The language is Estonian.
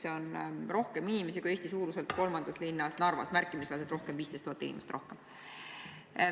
See on rohkem inimesi kui Eesti suuruselt kolmandas linnas Narvas – märkimisväärselt rohkem, 15 000 inimest rohkem.